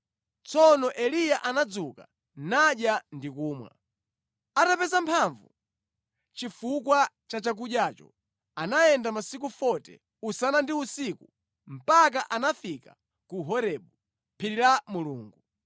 Tsono Eliya anadzuka nadya ndi kumwa. Atapeza mphamvu chifukwa cha chakudyacho, anayenda masiku 40, usana ndi usiku mpaka anafika ku Horebu, phiri la Mulungu.